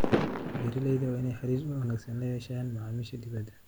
Beeralayda waa in ay xiriir wanaagsan la yeeshaan macaamiisha dibadda.